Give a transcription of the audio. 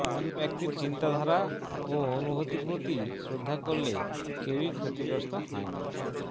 অন্য ব্যক্তির চিন্তাধারা ও অনুভূতির প্রতি শ্রদ্ধা করলে কেউই ক্ষতিগ্রস্ত হয় না